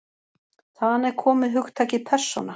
Þaðan er komið hugtakið persóna.